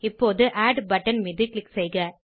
இப்போது add button மீது click செய்க